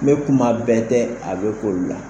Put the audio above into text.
N be kuma bɛɛ tɛ a bɛ kol la.